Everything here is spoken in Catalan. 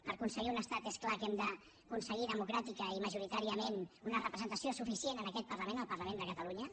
per aconseguir un estat és clar que hem d’aconseguir democràticament i majoritàriament una representació suficient en aquest parlament el parlament de catalunya